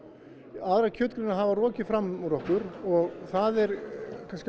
aðrar hafa rokið fram úr okkur og það er kannski